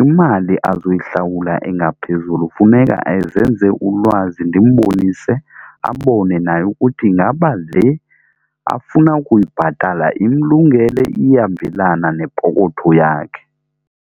imali azoyihlawula engaphezulu funeka ezenze ulwazi ndimbonise abone naye ukuthi ngaba le afuna ukuyibhatala imlungele iyahambelana nepokotho yakhe.